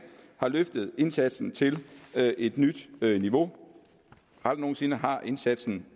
har løftet indsatsen til et nyt niveau aldrig nogen sinde har indsatsen